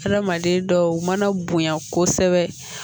Adamaden dɔw mana bonya kosɛbɛ